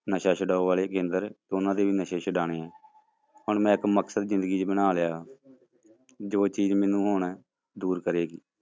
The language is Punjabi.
ਨਸ਼ਾ ਛਡਾਊ ਵਾਲੇ ਕੇਂਦਰ, ਉਹਨਾਂ ਦੇ ਵੀ ਨਸ਼ੇ ਛਡਾਉਣੇ ਹੈ, ਹੁਣ ਮੈਂ ਇੱਕ ਮਕਸਦ ਜ਼ਿੰਦਗੀ ਚ ਬਣਾ ਲਿਆ ਜੋ ਚੀਜ਼ ਮੈਨੂੰ ਹੁਣ ਦੂਰ ਕਰੇਗੀ।